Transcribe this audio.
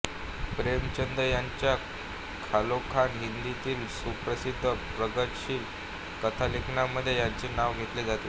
प्रेमचंद यांच्या खालोखाल हिंदीतील सुप्रसिद्ध प्रगतिशील कथालेखकांमध्ये यांचे नाव घेतले जाते